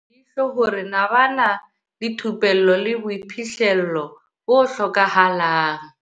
Eskom leihlo hore na ba na le thupello le boiphihlelo bo hlokahalang.